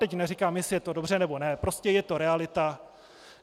Teď neříkám, jestli je to dobře, nebo ne, prostě je to realita.